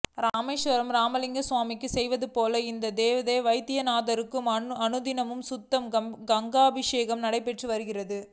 ராமேஸ்வரம் ராமலிங்கம் சுவாமிக்கு செய்வதுபோல் இந்த தேவ்கர் வைத்தியநாதருக்கும் அனுதினமும் சுத்த கங்காபிஷேகம் நடைபெற்று வருகிறது